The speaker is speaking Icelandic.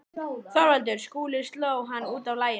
ÞORVALDUR: Skúli sló hann út af laginu.